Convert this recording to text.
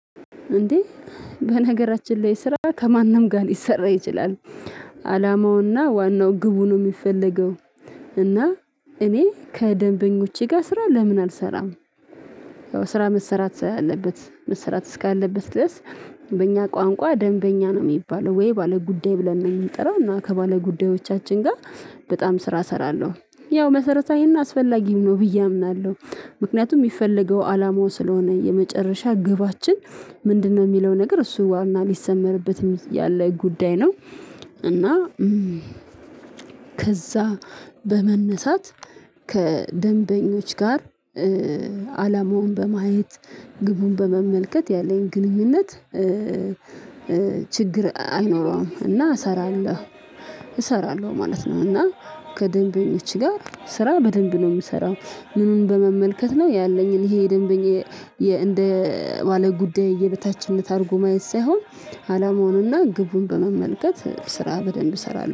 እንዴ በነገራችን ላይ ስራ ከማንም ጋር ሊሰራ ይችላል። አላማውና ዋናው ግቡን የሚፈለገው እና እኔ ከደንበኞቼ ጋር ስራ ለምን አልሰራም? ያው ስራ መሰራት ስላለበት መሰራት እስካለበት ድረስ በእኛ ቋንቋ ደንበኛ ነው የሚባለው ወይ ባለ ጉዳይ ብለን ነው የምንጠራው እና ከባለ ጉዳዮቻችን ጋር በጣም ስራ እሰራለሁ። ያው መሰረታዊን አስፈላጊም ነው ብዬ አምናለሁ። ምክንያቱም የሚፈለገው አላማው ስለሆነ የመጨረሻ ግባችን ምንድነው የሚለው ነገር እሱ ዋና ሊሰመርበትም ያለው ጉዳይ ነው። እና ከዛ በመነሳት ከደንበኞች ጋር አላማውን በማየት ግቡን በመመልከት ያለኝ ግንኙነት ችግር አይኖረውም እና እሰራለሁ። እሰራለሁ ማለት ነው። እና ከደንበኞች ጋር ስራ በደንብ ነው የምሰራው። ምኑን በመመልከት ነው ያለኝን ይሄ ደንበኛ እንደ ማለቅ ጉዳይ የበታችነት አድርጎ ማየት ሳይሆን አላማውንና ግቡን በመመልከት ስራ በደንብ እሰራለሁ